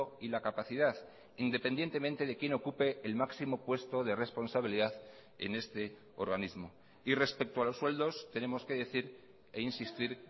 y la capacidad independientemente de quién ocupe el máximo puesto de responsabilidad en este organismo y respecto a los sueldos tenemos que decir e insistir